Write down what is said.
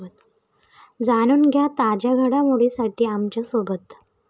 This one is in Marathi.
जाणून घ्या ताज्या घडामोडींसाठी आमच्यासोबत.